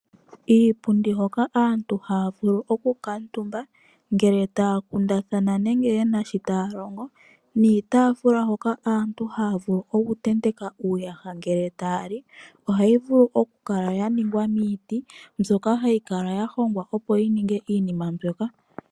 Iipundi hoka aantu haya vulu oku kamutumba ngele taya kundathana nenge yena shi taya longo niitafula hoka aantu haya vulu okutenteka uuyaha ngele taya li ohayi vulu okukala ya ningwa miiti mbyoka hayi kala ya hongwa opo yi ninge iinima mbyoka.